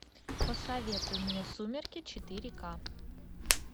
посоветуй мне сумерки четыре ка